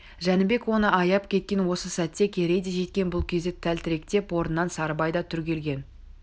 жәнібек оны аяп кеткен осы сәтте керей де жеткен бұл кезде тәлтіректеп орнынан сарыбай да түрегелген